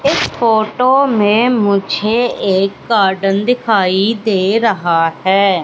इस फोटो में मुझे एक गार्डन दिखाई दे रहा है।